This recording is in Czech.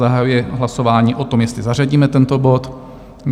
Zahajuji hlasování o tom, jestli zařadíme tento bod.